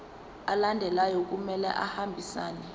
alandelayo kumele ahambisane